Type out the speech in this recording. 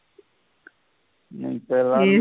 நீ இப்பெல்லாம்